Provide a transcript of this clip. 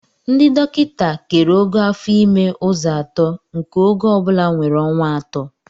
Ndị dọkịta kere ogo afo ime ụzọ atọ nke ogo ọ bụla nwere ọnwa atọ